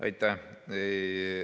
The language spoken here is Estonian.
Aitäh!